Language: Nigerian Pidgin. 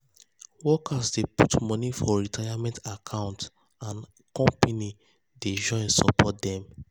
workers dey put money for retirement account and company dey join support dem.